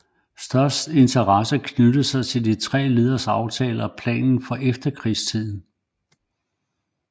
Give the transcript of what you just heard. Størst interesse knyttede sig til de tre lederes aftaler og planer for efterkrigstiden